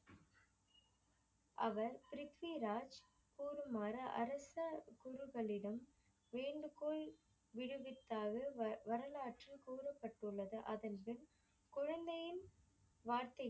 அவர் ப்ரித்விராஜ் கூறுமாறு அரச குழுக்களிடம் வேண்டுகோள் விடுவித்தாது வரலாற்று கூறபட்டுள்ளது. அதன்பின் குழந்தையின் வாழ்க்கைக்கு